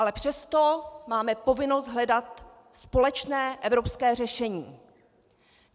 Ale přesto máme povinnost hledat společné evropské řešení.